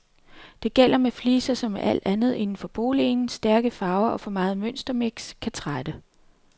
Det gælder med fliser som med alt andet inden for boligen, stærke farver og for meget mønstermix kan trætte.